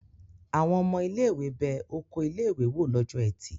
Àwọn ọmọ ilé-ìwé bẹ oko ilé-ìwé wò lọ́jọ́ ẹtì.